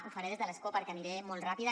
ho faré des de l’escó perquè aniré molt ràpida